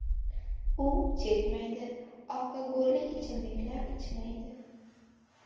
U chekmaydi, alkogolli ichimliklar ichmaydi.